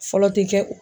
Fɔlɔ tɛ kɛ o